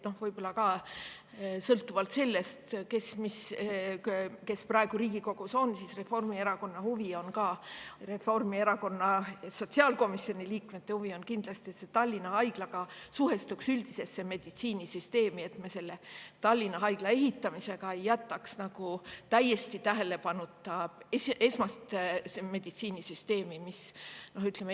Võib-olla sõltuvalt sellest, kes on praegu Riigikogus, on Reformierakonna huvi – sotsiaalkomisjoni Reformierakonna liikmete huvi kindlasti – see, et Tallinna Haigla suhestuks üldisesse meditsiinisüsteemi ja et me Tallinna Haigla ehitamisega ei jätaks täiesti tähelepanuta esma meditsiinisüsteemi.